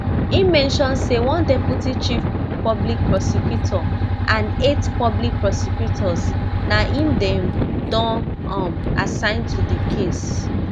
im mention say one deputy chief public prosecutor and eight public prosecutors na im dem don um assign to di case